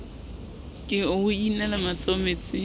ke o inele matsoho metsing